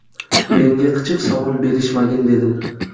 Menga qichiq savol berishmagin, dedim.